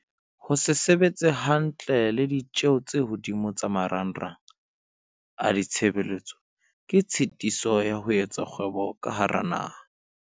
Ho se sebetse hantle le ditjeho tse hodimo tsa marangrang a ditshebeletso ke tshitiso ya ho etsa kgwebo ka hara naha.